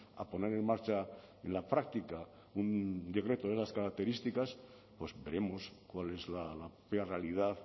a poner en marcha en la práctica un decreto de las características pues veremos cuál es la realidad